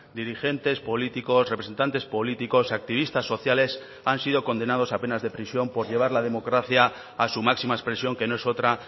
dirigentes políticos representantes políticos activistas sociales han sido condenados a penas de prisión por llevar la democracia a su máxima expresión que no es otra